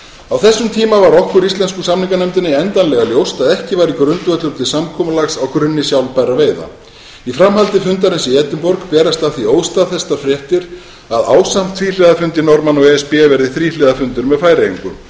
á þessum tíma var okkur íslensku samninganefndinni endanlega ljóst að ekki væri grundvöllur til samkomulags á grunni sjálfbærra veiða í framhaldi fundarins í edinborg berast af því óstaðfestar fréttir að ásamt tvíhliða fundi norðmanna og e s b verði þríhliða fundur með færeyingum það